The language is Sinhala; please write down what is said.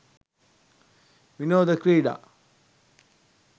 විනෝද ක්‍රීඩා